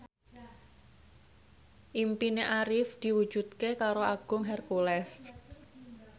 impine Arif diwujudke karo Agung Hercules